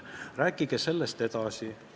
Rääkige sellest edasi!